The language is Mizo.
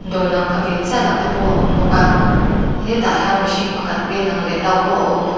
dawr lang pha ve chiah lo te pawh a awm bawk a hetah hian mihring pakhat hmel lang lem lo pawh a awm bawk--